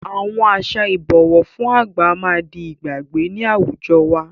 Àwọn àṣà Ìbọ̀wọ́ fún àgbà máa di ìgbàgbé ni àwùjọ wá